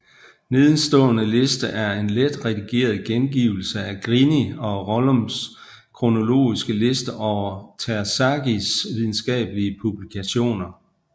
Nedenstående liste er en let redigeret gengivelse af Grini og Rollums kronologiske liste over Terzaghis videnskabelige publikationer